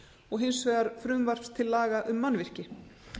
og hins vegar frumvarps til laga um mannvirki